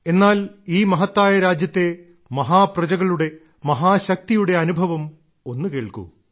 എന്നാൽ ഈ മഹത്തായ രാജ്യത്തെ മഹാ പ്രജകളുടെ മഹാശക്തിയുടെ അനുഭവം ഒന്നു കേൾക്കൂ